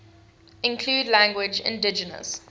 include languages indigenous